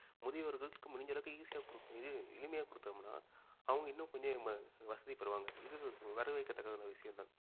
முதியவர்களுக்கு முடிஞ்ச அளவுக்கு easy ஆ கொடுத்தோம் இது எளிமையா குடுத்தோம்னா அவங்க இன்னும் கொஞ்சம் வசதிப்படுவாங்க இது வரவேற்கத்தக்கதான விஷயம் தான